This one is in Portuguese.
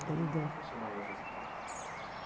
como funcionava essa escola?